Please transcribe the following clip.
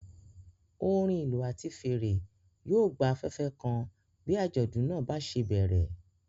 Orin ìlú àti fèrè yóò gba afẹ́fẹ́ kan bí àjọ̀dún náà bá ṣe bẹ̀rẹ̀.